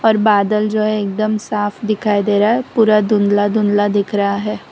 और बादल जो है एकदम साफ दिखाई दे रहा है पूरा धुंधला धुंधला दिख रहा है।